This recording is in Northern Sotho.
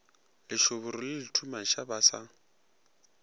lešoboro le lethumaša ba sa